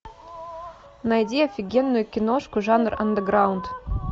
найди офигенную киношку жанра андеграунд